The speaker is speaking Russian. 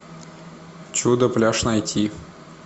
чудо пляж найти